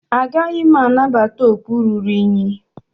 Agaghị m anabata okpu ruru unyi